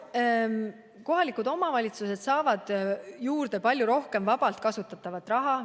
Kohalikud omavalitsused saavad juurde palju rohkem vabalt kasutatavat raha.